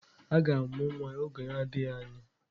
A ga-amụ nwa n'oge adịghị anya.